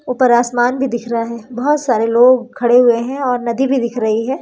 ऊपर आसमान भी दिख रहा है। बहोत सारे लोग खड़े हुए है और नदी भी दिख रही है।